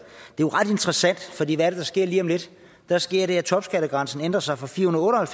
jo ret interessant for hvad er det der sker lige om lidt der sker det at topskattegrænsen ændrer sig fra firehundrede og